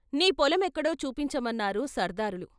నీ పొలమెక్కడో చూపించమన్నారు సర్దారులు.